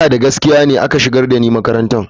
Ina da gaskiya ne aka shigar da ni makarantar.